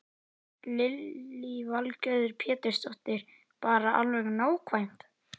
Lillý Valgerður Pétursdóttir: Bara alveg nákvæmt?